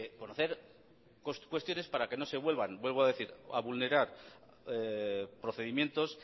conocer cuestiones para que no se vuelvan vuelvo a decir a vulnerar procedimientos